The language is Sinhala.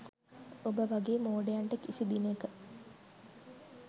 ඔබ වගේ මෝඩයන්ටකිසි දිනක